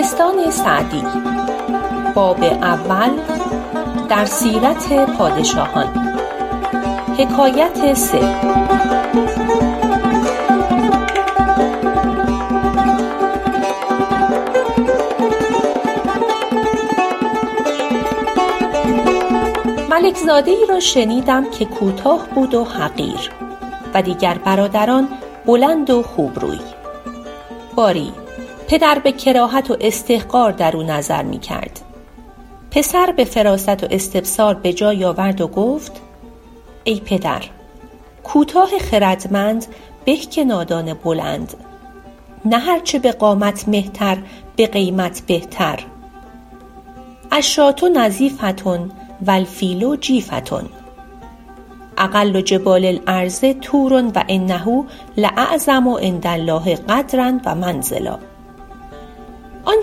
ملک زاده ای را شنیدم که کوتاه بود و حقیر و دیگر برادران بلند و خوب روی باری پدر به کراهت و استحقار درو نظر می کرد پسر به فراست و استبصار به جای آورد و گفت ای پدر کوتاه خردمند به که نادان بلند نه هر چه به قامت مهتر به قیمت بهتر الشاة نظیفة و الفیل جیفة اقل جبال الارض طور و انه لاعظم عندالله قدرا و منزلا آن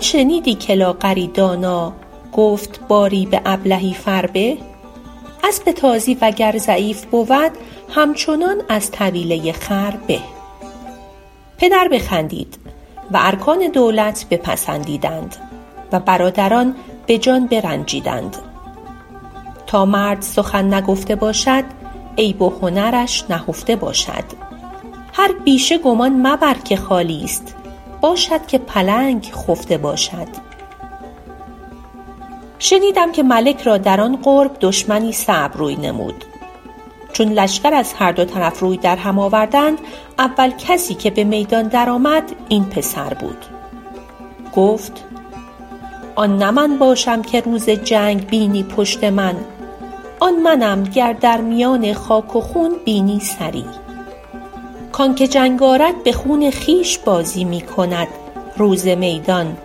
شنیدی که لاغری دانا گفت باری به ابلهی فربه اسب تازی وگر ضعیف بود همچنان از طویله ای خر به پدر بخندید و ارکان دولت پسندیدند و برادران به جان برنجیدند تا مرد سخن نگفته باشد عیب و هنرش نهفته باشد هر پیسه گمان مبر نهالی باشد که پلنگ خفته باشد شنیدم که ملک را در آن قرب دشمنی صعب روی نمود چون لشکر از هر دو طرف روی در هم آوردند اول کسی که به میدان در آمد این پسر بود گفت آن نه من باشم که روز جنگ بینی پشت من آن منم گر در میان خاک و خون بینی سری کانکه جنگ آرد به خون خویش بازی می کند روز میدان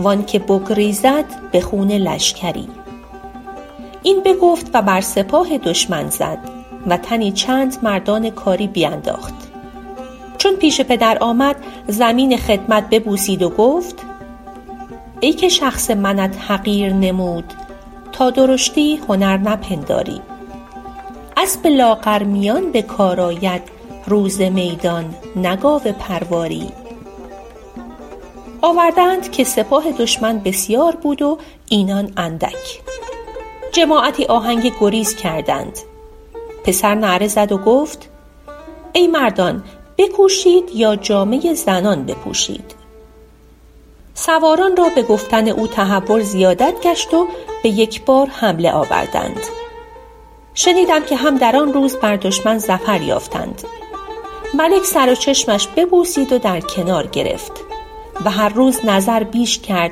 و آن که بگریزد به خون لشکری این بگفت و بر سپاه دشمن زد و تنی چند مردان کاری بینداخت چون پیش پدر آمد زمین خدمت ببوسید و گفت ای که شخص منت حقیر نمود تا درشتی هنر نپنداری اسب لاغرمیان به کار آید روز میدان نه گاو پرواری آورده اند که سپاه دشمن بسیار بود و اینان اندک جماعتی آهنگ گریز کردند پسر نعره زد و گفت ای مردان بکوشید یا جامه زنان بپوشید سواران را به گفتن او تهور زیادت گشت و به یک بار حمله آوردند شنیدم که هم در آن روز بر دشمن ظفر یافتند ملک سر و چشمش ببوسید و در کنار گرفت و هر روز نظر بیش کرد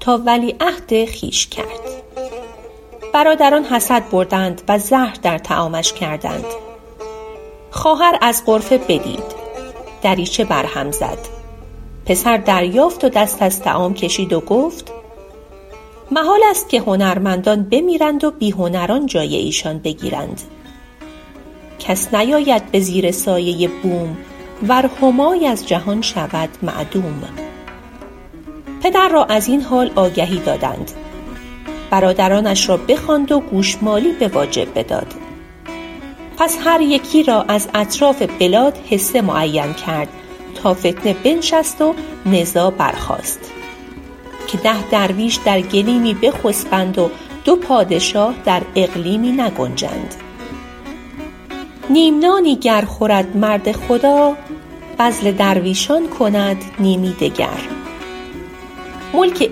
تا ولیعهد خویش کرد برادران حسد بردند و زهر در طعامش کردند خواهر از غرفه بدید دریچه بر هم زد پسر دریافت و دست از طعام کشید و گفت محالست که هنرمندان بمیرند و بی هنران جای ایشان بگیرند کس نیاید به زیر سایه بوم ور همای از جهان شود معدوم پدر را از این حال آگهی دادند برادرانش را بخواند و گوشمالی به واجب بداد پس هر یکی را از اطراف بلاد حصه معین کرد تا فتنه بنشست و نزاع برخاست که ده درویش در گلیمی بخسبند و دو پادشاه در اقلیمی نگنجند نیم نانی گر خورد مرد خدا بذل درویشان کند نیمی دگر ملک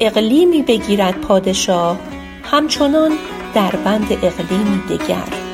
اقلیمی بگیرد پادشاه همچنان در بند اقلیمی دگر